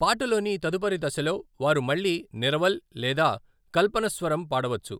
పాటలోని తదుపరి దశలో, వారు మళ్ళీ నిరవల్ లేదా కల్పనస్వరం పాడవచ్చు.